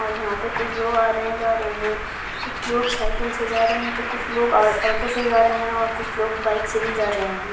और यहां पर कुछ लोग आ रहे जा रहे हैं और कुछ लोग साइकिल से जा रहे हैं तो कुछ लोग ऑटो से जा रहे हैं और कुछ लोग बाइक से जा रहे हैं।